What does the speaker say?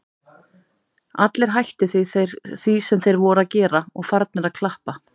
Allir hættir því sem þeir voru að gera og farnir að klappa.